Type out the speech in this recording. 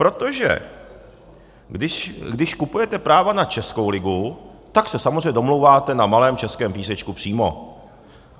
Protože když kupujete práva na českou ligu, tak se samozřejmě domlouváte na malém českém písečku přímo.